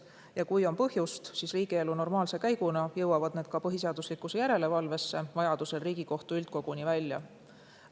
Ja kui on põhjust, siis normaalse riigielu käigus jõuavad need põhiseaduslikkuse järelevalvesse, vajaduse korral Riigikohtu üldkoguni välja.